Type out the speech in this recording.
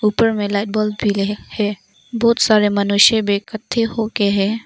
ऊपर में light bulb भी है बहुत सारे मनुष्य भी इकट्ठे होके है।